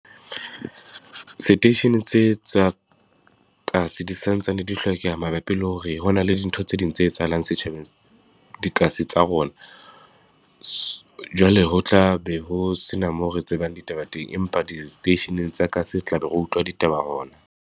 Seteisheneng tse tsa kasi, di sa ntsane di hlokeha mabapi le hore ho na le dintho tse ding tse etsahalang dikasi tsa rona. Jwale ho tla be ho se na mo re tsebang ditaba teng, empa di-station-eng tsa kasi re tla be re utlwa ditaba .